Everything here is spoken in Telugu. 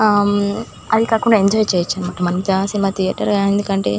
ఆ మ్మ్ అది కాకుండా ఎంజాయ్ చేయొచ్చన్నమాట సినిమా ధియేటర్ ఎందుకంటే--